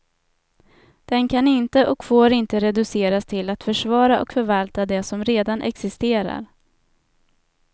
Den kan inte och får inte reduceras till att försvara och förvalta det som redan existerar.